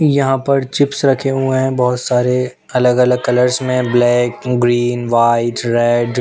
यहाँ पर चिप्स रखे हुए हैं बहुत सारे अलग अलग कलर्स में ब्लैक ग्रीन व्हाइट रेड --